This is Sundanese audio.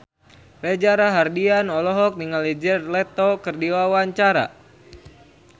Reza Rahardian olohok ningali Jared Leto keur diwawancara